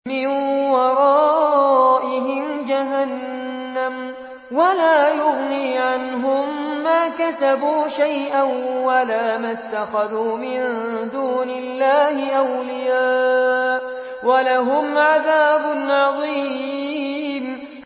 مِّن وَرَائِهِمْ جَهَنَّمُ ۖ وَلَا يُغْنِي عَنْهُم مَّا كَسَبُوا شَيْئًا وَلَا مَا اتَّخَذُوا مِن دُونِ اللَّهِ أَوْلِيَاءَ ۖ وَلَهُمْ عَذَابٌ عَظِيمٌ